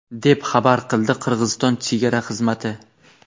deb xabar qildi Qirg‘iziston chegara xizmati.